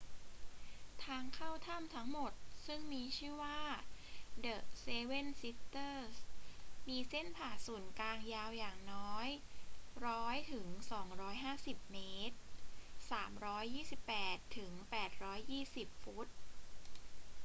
ทางเข้าถ้ำทั้งหมดซึ่งมีชื่อว่า เดอะ เซเว่น ซิสเตอรส์ มีเส้นผ่านศูนย์กลางยาวอย่างน้อย 100 ถึง 250 เมตร 328 ถึง 820 ฟุต